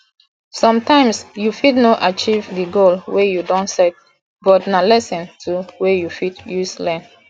sometimes you fit no achieve di goal wey you don set but na lesson too wey you fit use learn